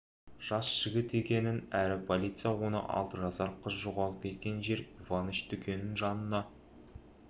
жас жігіт екенін әрі полиция оны алты жасар қыз жоғалып кеткен жер иваныч дүкенінің жанына